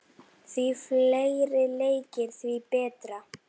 Því fleiri leikir, því betra.